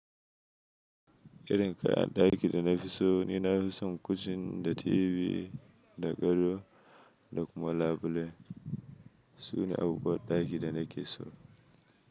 Irin kayan ɗaki da na fi so ni, na fi son kocin da TV da gado da kuma labule. Su ne abubuwan ɗaki da nake so.